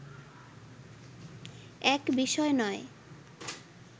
এক বিষয় নয়